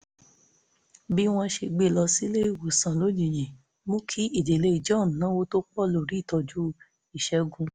bí wọ́n ṣe gbé e lọ sílé ìwòsàn lójijì mú kí ìdílé john náwó tó pọ̀ lórí ìtọ́jú ìṣègùn